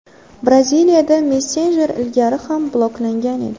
Braziliyada messenjer ilgari ham bloklangan edi .